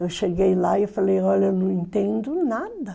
Eu cheguei lá e falei, olha, eu não entendo nada.